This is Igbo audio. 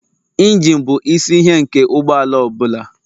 Injine bụ isi ihe nke ụgbọala ọ bụla